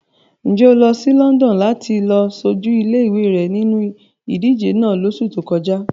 Ǹ jẹ́ o lọ sí London láti lọ ṣojú ilé-ìwé rẹ nínu ìdíje náà lóṣù tó kọjá?